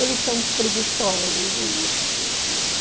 Eles são uns preguiçosos, e isso